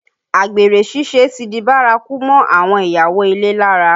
Àgbèrè ṣíṣe ti di bárakú mọ́ àwọn ìyàwó ilé lára